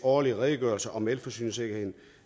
årlige redegørelse om elforsyningssikkerheden